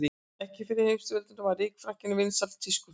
Eftir fyrri heimsstyrjöldina varð rykfrakkinn vinsæl tískuflík.